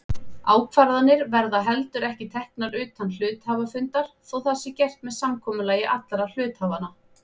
Ákvarðanir verða heldur ekki teknar utan hluthafafundar þótt það sé gert með samkomulagi allra hluthafanna.